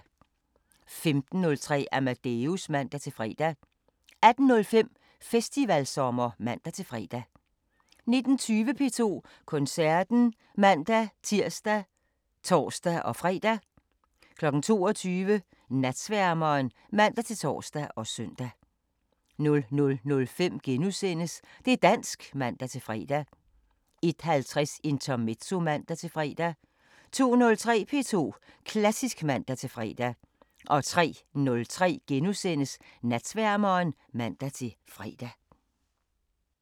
15:03: Amadeus (man-fre) 18:05: Festivalsommer (man-fre) 19:20: P2 Koncerten (man-tir og tor-fre) 22:00: Natsværmeren (man-tor og søn) 00:05: Det' dansk *(man-fre) 01:50: Intermezzo (man-fre) 02:03: P2 Klassisk (man-fre) 03:03: Natsværmeren *(man-fre)